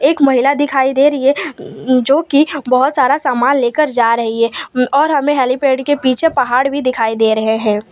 एक महिला दिखाई दे रही है उँ जो की बहोत सारा सामान लेकर जा रही है उँ और हमें हेलीपैड के पीछे पहाड़ भी दिखाई दे रहे हैं।